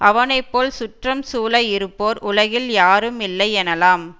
அவனை போல் சுற்றம் சூழ இருப்போர் உலகில் யாரும் இல்லை எனலாம்